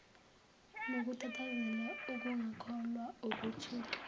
nokutatazela ukungakholwa ukuthuka